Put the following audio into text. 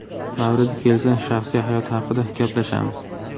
Mavridi kelsa, shaxsiy hayot haqida gaplashamiz.